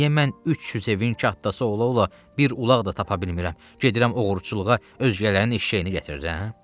Niyə mən 300 evin kətxası ola-ola bir ulaq da tapa bilmirəm, gedirəm oğurluğa, özgələrin eşşəyini gətirirəm, hə?